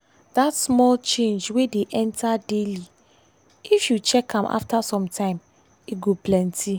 that small change wey dey enter daily if you check am after some time e go plenty.